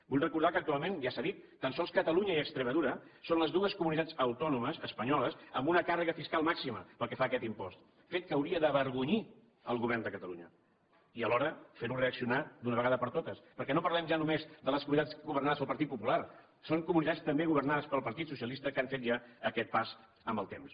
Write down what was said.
vull recordar que actualment ja s’ha dit tan sols catalunya i extremadura són les dues comunitats autònomes espanyoles amb una càrrega fiscal màxima pel que fa a aquest impost fet que hauria d’avergonyir el govern de catalunya i alhora fer lo reaccionar d’una vegada per totes perquè no parlem ja només de les comunitats governades pel partit popular són comunitats també governades pel partit socialista que han fet ja aquest pas amb el temps